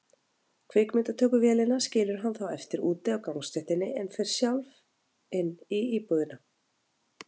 Kvikmyndatökuvélin skilur hann þá eftir úti á gangstéttinni, en fer sjálf inn í íbúðina.